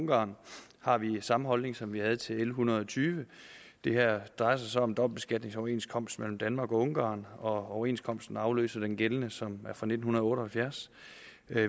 ungarn har vi samme holdning som vi havde til l en hundrede og tyve det her drejer sig om en dobbeltbeskatningsoverenskomst mellem danmark og ungarn og overenskomsten afløser den gældende som er fra nitten otte og halvfjerds